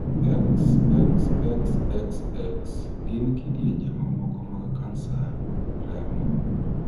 xxxxx gin kidienje mamoko mag kansa remo.